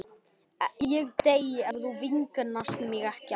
Ég dey ef þú vingast ekki við mig aftur.